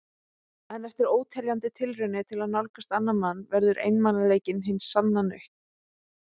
En eftir óteljandi tilraunir til að nálgast annan mann verður einmanaleikinn hin sanna nautn.